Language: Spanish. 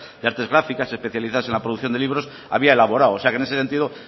de artes gráficas especializadas en la producción de libros había elaborado o sea que en ese sentido